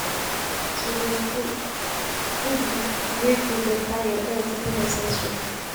To the food foodu wey go beta your healt dey necessary.